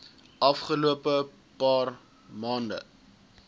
afgelope paar maande